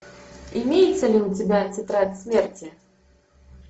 имеется ли у тебя тетрадь смерти